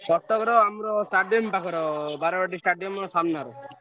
କଟକର ଆମର ଷ୍ଟାଡିୟମ ପାଖରେ ବାରବାଟୀ ଷ୍ଟାଡିୟମ ସାମନା ରେ।